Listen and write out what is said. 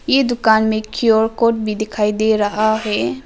ये दुकान में क्यू आर कोड भी दिखाई दे रहा है।